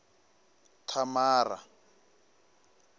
thamara